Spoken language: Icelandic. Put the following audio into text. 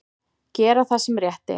Gera það sem rétt er.